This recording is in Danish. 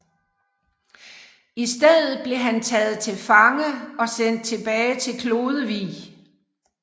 I stedet blev han taget til fange og sendt tilbage til Klodevig